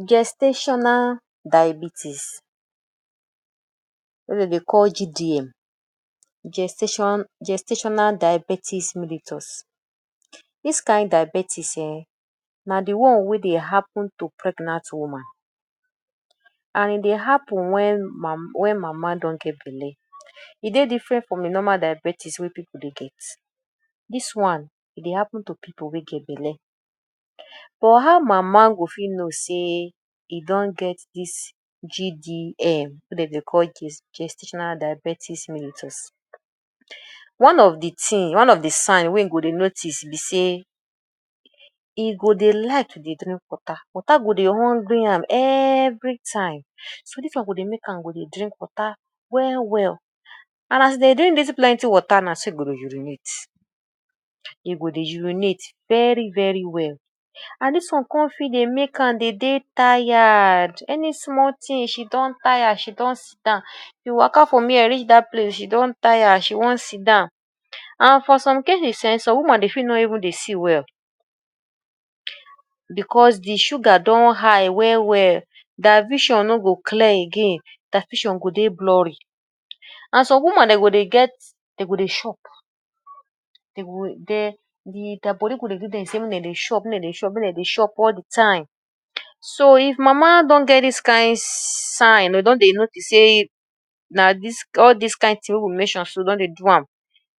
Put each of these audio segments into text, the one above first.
Gestational diabetes wey dem dey call GDM, Gestation Gestational Diabetes. Dis kain diabetes um na de one wey dey happen to pregnant woman and e dey happen wen wen mama don get belle, e dey different from de normal diabetes wey pipu dey get. Dis one e dey happen to pipu wey get belle but how mama go fit know sey e don get dis GDM wey dem dey Gest Gestational Diabetes. One of de thing, one of de sign wey e go dey notice be sey e go dey like to dey drink water, water go dey hungry am everytime. So dis one go dey make to dey drink water well well and as e dey drink dis plenty water na so e go dey urinate, e go dey urinate very very well. And dis one come fit dey make am dey dey tired, any small thing she don tire she don sit down. Dey waka from here reach dat place she don tire she don sit down and for some cases um some woman dey fit no even dey see well because de sugar don high well well, their vision no go clear again, their vision go dey blurry. And some woman dey go dey get dey go dey chop, dey go dey their body go dey do dem sey make dem dey chop make dem dey chop, be like dem dey chop all de time. So if mama don get dis kain sign dem don dey notice sey na dis all dis kain thing wey we mention she don dey do am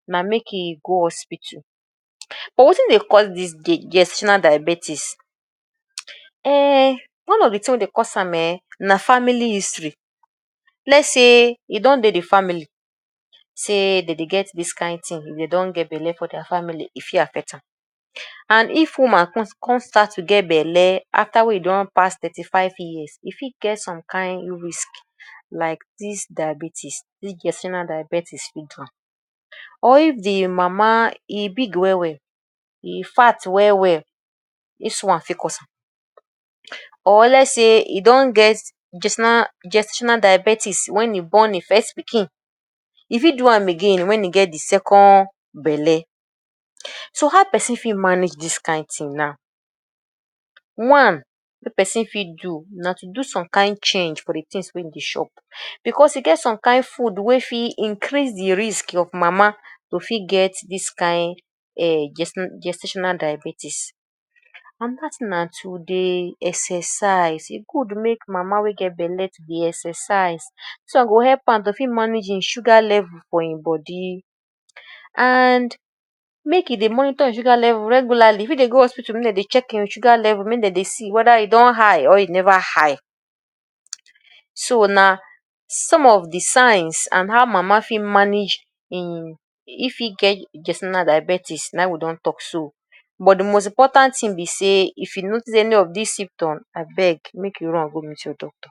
na make im go hospital. But wetin dey cause dis Gestational Diabetes? Um one of de thing wey dey cause am [um ]na family history, let's sey e don dey de family sey dem dey get dis kain thing if dem don get belle for there family e fit affect am. And if woman come come start to get belle after wey e don pass thirty-five years, e fit get some kain risk like dis diabetes dis gestational diabetes fit do am. Or if de mama e big well well, e fat well well dis one fit cause am or let's sey e don get gestational diabetes wen e born im first pikin e fit do am again wen e get di second belle. So how person fit manage dis kain thing now? One wey person fit do na to do some kain change for de thing wey e dey chop because e get some kain food wey fit increase de risk of mama to fit get dis kain um gestational diabetes. Another thing na to dey exercise, e good make mama wey get belle to dey exercise. Dis one go help am to fit manage im sugar level for im body. And make e dey monitor im sugar level regularly e fit dey go hospital make dem dey check im sugar level make dem dey see whether e don high or e never high. So na some of de signs and how mama fit manage im if e get gestational diabetes na im we don talk so but de most important thing be sey if you notice any of dis symptoms abeg make you run go meet your doctor.